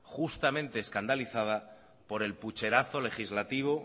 justamente escandalizada por el pucherazo legislativo